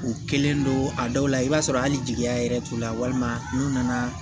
U kɛlen don a dɔw la i b'a sɔrɔ hali jigiya yɛrɛ t'u la walima n'u nana